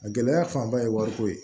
A gɛlɛya fanba ye wariko ye